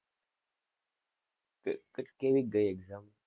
ક~ કેવી ક ગયી exam